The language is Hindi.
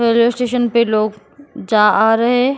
रेलवे स्टेशन पे लोग जा आ रहे हैं